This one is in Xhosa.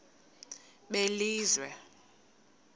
belizwe